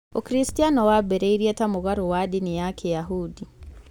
ũkristiano wambĩrĩirie ta mũgarũ wa ndini ya kĩyahudi